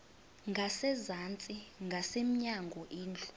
ngasezantsi ngasemnyango indlu